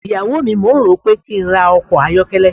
iyawo mi, mò ń rò ó pé kí n ra ọkọ̀ ayọ́kẹ́lẹ́.